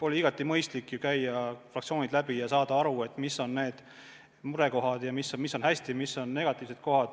Oli ju igati mõistlik käia fraktsioonid läbi ja saada aru, mis on murekohad, negatiivsed kohad, ja mis on hästi.